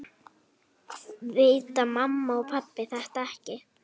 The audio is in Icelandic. Vita mamma og pabbi þetta ekki?